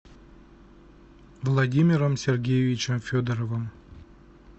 владимиром сергеевичем федоровым